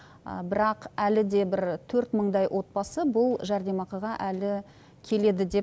бірақ әлі де бір төрт мыңдай отбасы бұл жәрдемақыға әлі келеді деп